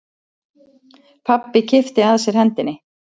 Pabbi kippti að sér hendinni.